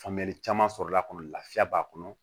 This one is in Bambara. Faamuyali caman sɔrɔla a kɔnɔ lafiya b'a kɔnɔ